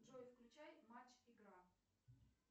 джой включай матч игра